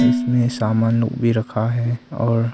इसमें सामान भी रखा है और--